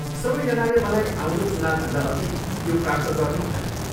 सबैजनाले मलाई आउँदो चुनावभन्दा अघि यो प्राप्त गर्नु भने।